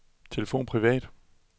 telefon privat